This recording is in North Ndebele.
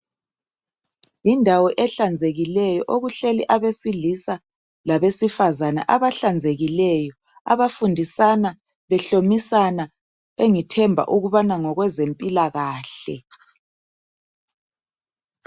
Yindawo ehlanzekileyo okuhleli abesilisa labesifazana abahlanzekileyo abafundisana behlomisana engithemba ukubana ngokwezempilakahle .